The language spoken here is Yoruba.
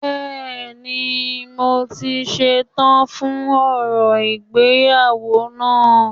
Bẹ́ẹ̀ni, mo ti ṣe tán fún orò ìgbéyàwó náà